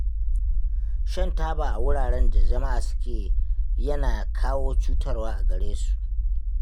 Shan taba a wuraren da jama'a suke yana kawo cutarwa a gare su